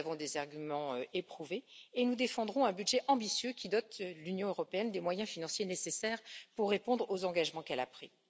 Nous avons des arguments éprouvés et nous défendrons un budget ambitieux qui dote l'Union européenne des moyens financiers nécessaires pour répondre aux engagements qu'elle a pris.